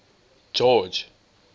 george